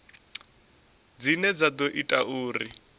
dzine dza ḓo ita uri